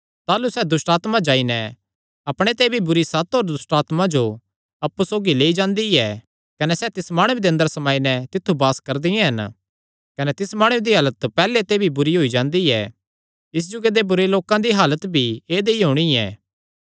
ताह़लू सैह़ दुष्टआत्मा जाई नैं अपणे ते भी बुरी सत होर दुष्टआत्मां जो अप्पु सौगी लेई जांदी ऐ कने सैह़ तिस माणुये दे अंदर समाई नैं तित्थु वास करदियां हन कने तिस माणुये दी हालत पैहल्ले ते भी बुरी होई जांदी ऐ इस जुगे दे बुरे लोकां दी हालत भी ऐदई होणी ऐ